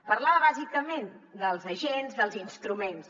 parlava bàsicament dels agents dels instruments